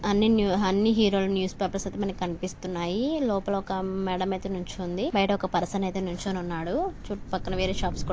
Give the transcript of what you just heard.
అన్నీ హెరో హీరోల news papers అయితే మనకి కన్పిస్తున్నాయి లోపల మేడమ్ అయితే నిల్చుంది బయట ఒక పర్సన్ అయితే నిల్చొని ఉన్నాడు చుట్టూపక్కల వేరే షాప్స్ కూడా --